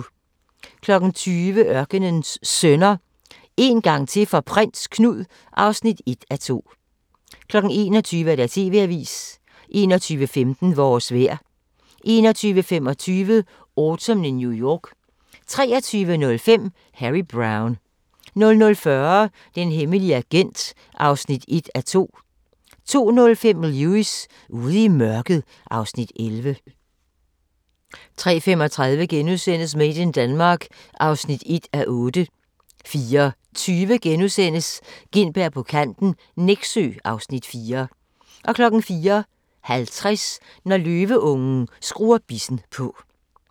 20:00: Ørkenens Sønner – En gang til for Prins Knud (1:2) 21:00: TV-avisen 21:15: Vores vejr 21:25: Autumn in New York 23:05: Harry Brown 00:40: Den hemmelige agent (1:2) 02:05: Lewis: Ude i mørket (Afs. 11) 03:35: Made in Denmark (1:8)* 04:20: Gintberg på kanten - Nexø (Afs. 4)* 04:50: Når løveungen skruer bissen på